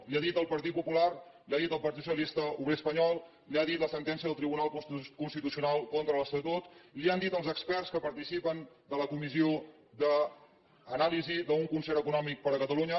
li ho ha dit el partit popular li ho ha dit el partit socialista obrer espanyol li ho ha dit la sentència del tribunal constitucional contra l’estatut li ho han dit els experts que participen en la comissió d’anàlisi d’un concert econòmic per a catalunya